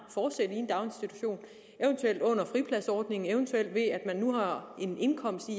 en daginstitution eventuelt under fripladsordningen eventuelt ved at man nu har en indkomst i